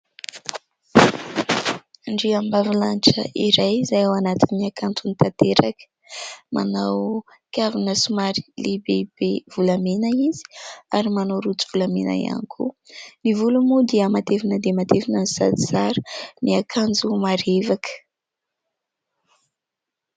Andriambavilanitra iray izay ao anatin'ny hakantony tanteraka. Manao kavina somary lehibebe volamena izy ary manao rojo volamena ihany koa. Ny volony moa dia matevina dia matevina no sady tsara, miakanjo marevaka.